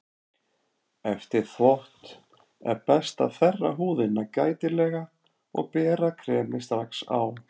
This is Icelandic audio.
Eftir þvott er best að þerra húðina gætilega og bera kremið strax á eftir.